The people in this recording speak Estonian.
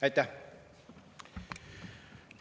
Aitäh!